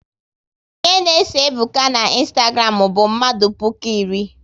Ihe na eso Ebuka na Ịnstagram bụ mmadụ puku iri